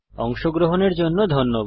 অংশগ্রহনের জন্য ধন্যবাদ